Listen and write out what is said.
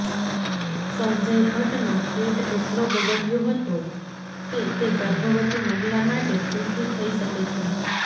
સંજય ભટ્ટનો પેટ એટલો બગડયો હતો કે તે ગર્ભવતી મહિલા માટે ભૂલથી થઈ શકે છે